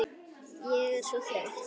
Ég er svo þreytt